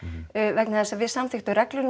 vegna þess að við samþykktum reglur